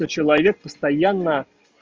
и человек постоянно